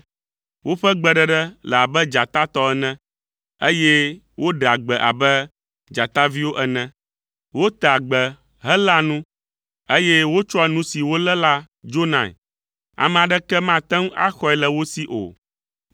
Woƒe gbeɖeɖe le abe dzata tɔ ene, eye woɖea gbe abe dzataviwo ene. Wotea gbe heléa nu, eye wotsɔa nu si wolé la dzonae, ame aɖeke mate ŋu axɔe le wo si o.